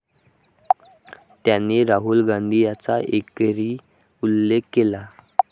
त्यांनी राहुल गांधी यांचा एकेरी उल्लेख केला.